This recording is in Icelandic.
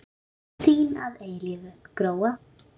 Þín að eilífu, Gróa.